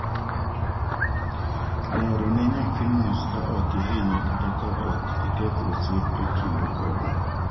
lero ne nyathi mos ka ok ihinye kata ka ok iketho osiep e kindu kode